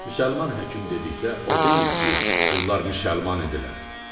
Müsəlman həkim dedikdə o deyil ki, bunlar müsəlman idilər.